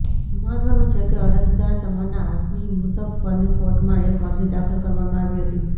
મહત્વનું છે કે અરજદાર તમન્ના હાશમી મુજફ્ફરની કોર્ટમાં એક અરજી દાખલ કરવામાં આવી હતી